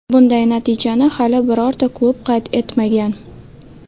Bunday natijani hali birorta klub qayd etmagan.